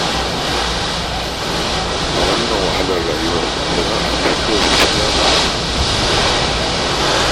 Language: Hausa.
A wannan wahalar rayuwar sana'a ce kawai mafita ba albashi kaɗai ba